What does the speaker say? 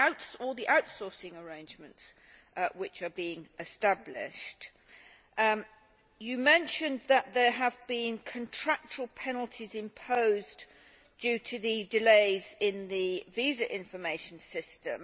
And what about the outsourcing arrangements which are being established? You mentioned that there have been contractual penalties imposed owing to the delays in the visa information system.